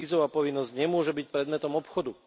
Vízová povinnosť nemôže byť predmetom obchodu.